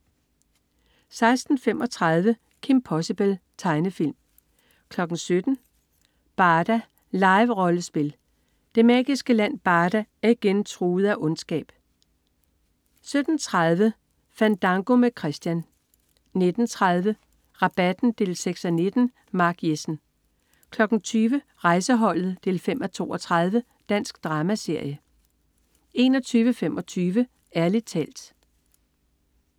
16.35 Kim Possible. Tegnefilm 17.00 Barda. Live-rollespil. Det magiske land Barda er igen truet af ondskab 17.30 Fandango med Christian 19.30 Rabatten 6:19. Mark Jessen 20.00 Rejseholdet 5:32. Dansk dramaserie 21.25 Ærlig talt